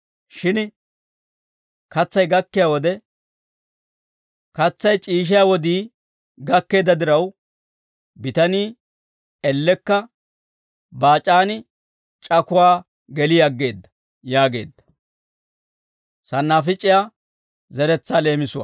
Shin katsay gakkiyaa wode, katsaa shiishshiyaa wodii gakkeedda diraw, bitanii ellekka baac'aan c'akuwaa geli aggeedda» yaageedda.